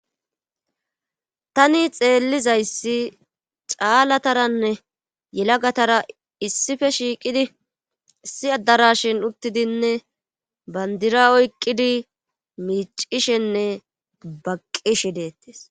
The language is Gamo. Tani xeellizayssi caalataranne yelagatara issife shiiqidi issi addara shin uttidinne bandira oyqqidi miicishenne baqqishi deettes.